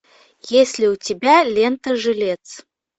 есть ли у тебя лента жилец